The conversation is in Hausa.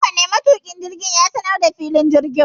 Hakane, matuki jirgin ya sanar da filin jirgin